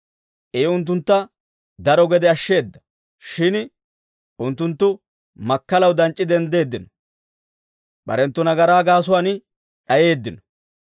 I unttuntta daro gede ashsheedda; shin unttunttu makkalaw danc'c'i denddeeddino; barenttu nagaraa gaasuwaan d'ayeeddino.